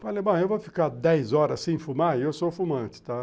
Falei, eu vou ficar dez horas sem fumar e eu sou fumante, tá?